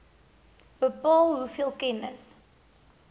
bepaal hoeveel kennis